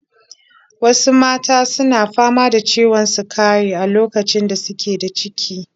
Wasu mata su na fama da ciwon sukari a lokacin da su ke da ciki.